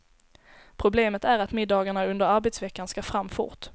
Problemet är att middagarna under arbetsveckan ska fram fort.